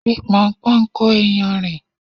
Fi Pọnpọ́n kó iyanrìn.